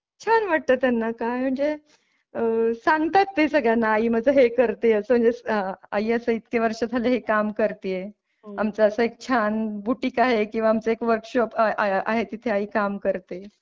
छान वाटतं त्यांना काय म्हणजे आह सांगतात ते सगळ्यांना आई माझी हे करते असं इतकी वर्ष झाली काम करतीये आमचा एक छान बुटीक आहे किंवा आमचं वर्कशॉप आहे तिथे आई काम करते.